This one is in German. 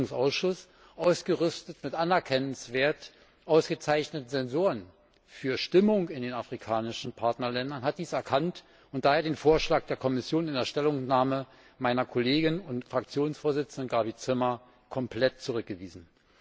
Der Entwicklungsausschuss, ausgerüstet mit anerkennenswert ausgezeichneten Sensoren für Stimmungen in den afrikanischen Partnerländern, hat dies erkannt und daher den Vorschlag der Kommission in der Stellungnahme meiner Kollegin und Fraktionsvorsitzenden Gabi Zimmer komplett zurückgewiesen.